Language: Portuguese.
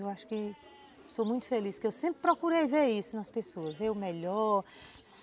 Eu acho que sou muito feliz, porque eu sempre procurei ver isso nas pessoas, ver o melhor...